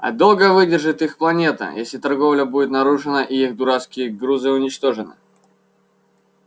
а долго выдержит их планета если торговля будет нарушена и их дурацкие грузы уничтожены